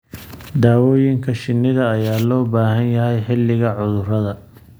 Daawooyinka shinnida ayaa loo baahan yahay xilliga cudurada.